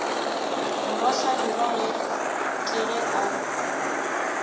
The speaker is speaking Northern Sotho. morwa hlabirwa ke ge a